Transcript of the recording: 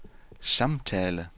samtale